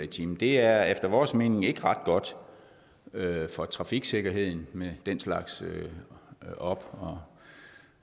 time det er efter vores mening ikke ret godt for trafiksikkerheden med den slags op